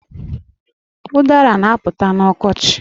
Udara na-apụta n'ọkochi